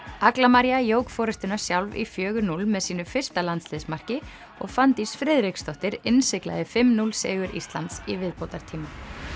agla María jók forystuna sjálf í fjögur núll með sínu fyrsta landsliðsmarki og Fanndís Friðriksdóttir innsiglaði fimm til núll sigur Íslands í viðbótartíma